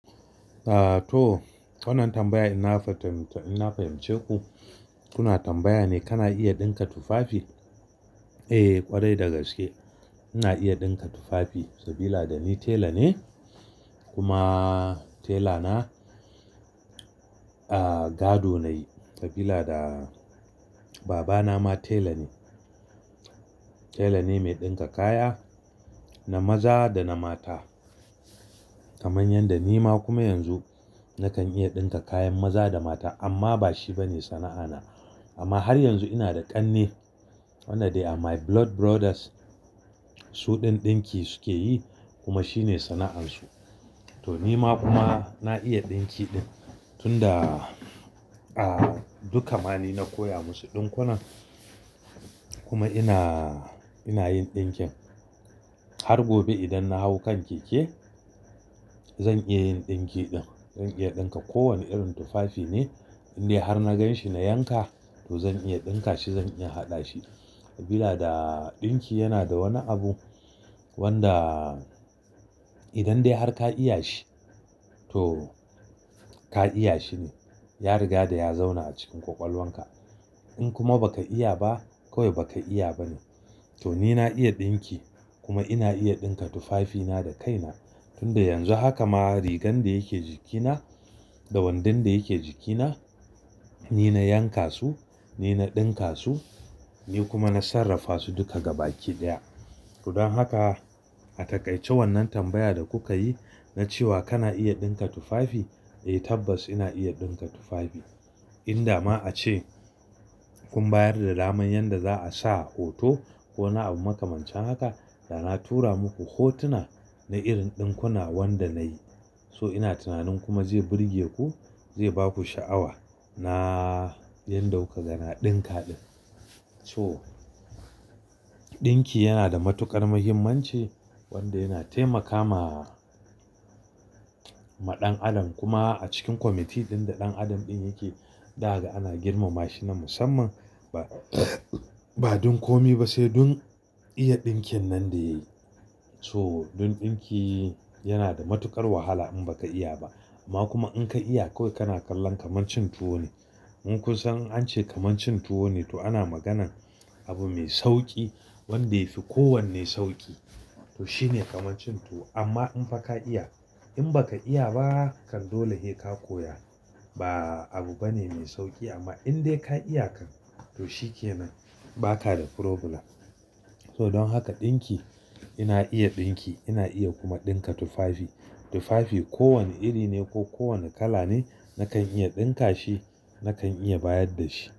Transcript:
Ah, to wannan tambaya inna fahimce ku, kuna tambaya ne kana iya ɗinka tufafi? Eh, kwarai dagaske ina iya ɗinka tufafi sabila da ni tela ne kuma tela na, ah gado nayi sabila da baba na ma tela ne. Tela ne mai ɗinka kaya na maza da na mata kamar yadda ni ma kuma yanzu nakan iya ɗinka kayan maza da mata amma ba shi bane sana'a na. Amma har yanzu ina da ƙanne, wanda they are my blood brothers. Suɗin ɗinki suke yi kuma shi ne sana'ar su. To ni ma kuma na iya ɗinki din tun da, ah duka ma ni na koya musu ɗinkuna kuma ina, ina yin ɗinkin. Har gobe idan na hau kan keke zan iya yin ɗinki din, zan iya ɗinka kowane irin tufafi ne indai har na ganshi na yanka to zan iya ɗinka shi, zan iya haɗa shi. Sabila da ɗinki yana da wani abu wanda idan dai har ka iya shi to ka iya shi ne. Ya riga da ya zauna a cikin ƙwaƙwalwar ka. In kuma baka iya ba kawai baka iya ba ne. To ni na iya ɗinki kuma ina iya ɗinka tufafi na da kai na tun da yanzu. Haka ma rigar da yake jikina da wandon da yake jikina, ni na yanka su, ni na ɗinka su, ni kuma na sarrafa su duka gabaki ɗaya. To don haka a taƙaice wannan tambaya da kuka yi na cewa kana iya ɗinka tufafi? Eh tabbas ina iya ɗinka tufafi. Inda ma a ce kun bayar da daman yanda za a sa hoto ko wani abu makamancin haka da na tura muku hotuna na irin ɗinkuna wanda na yi. So ina tunanin kuma zai burge ku, zai ba ku sha'awa na yanda kukaga na ɗinka ɗin. To ɗinki yana da matuƙar muhimmanci wanda yana taimakama maɗan adam kuma a cikin kwamiti ɗin da ɗan adam ɗin yake daga ana girmama shi na musamman ba, ba don komi ba sai don iya ɗinkin nan da yayi. So don ɗinki yana da matuƙar wahala in baka iya ba amma kuma in ka iya kawai kana kallon kamar cin tuwo ne. In kun san an ce kamar cin tuwo ne to ana maganan abu mai sauki wanda ya fi kowanne sauki. To shi ne kamar cin tuwo. Amma in fa ka iya, in baka iya ba kan dole hei ka koya. Ba abu bane mai sauki amma in dai ka iya kan to shi ke nan ba ka da problem. To don haka ɗinki ina iya ɗinki ina iya kuma ɗinka tufafi. Tufafi kowane iri ne ko kowane kala ne nakan iya ɗinka shi, nakan iya bayar da shi.